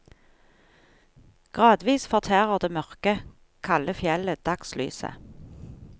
Gradvis fortærer det mørke, kalde fjellet dagslyset.